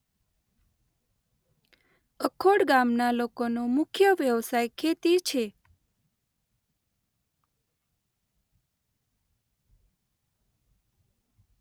અખોડ ગામના લોકોનો મુખ્ય વ્યવસાય ખેતી છે.